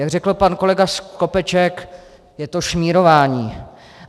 Jak řekl pan kolega Skopeček, je to šmírování.